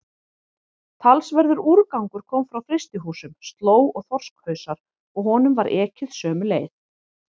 Talsverður úrgangur kom frá frystihúsunum, slóg og þorskhausar, og honum var ekið sömu leið.